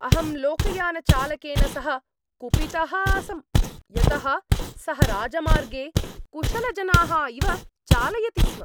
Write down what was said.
अहं लोकयानचालकेन सह कुपितः आसम् यतः सः राजमार्गे कुशलजनाः इव चालयति स्म।